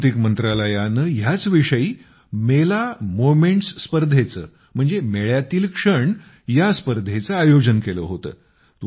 सांस्कृतिक मंत्रालयाने ह्याच विषयी मेला मोमेंट्स स्पर्धेचे मेळ्यातील क्षण ह्या स्पर्धेचे आयोजन केले होते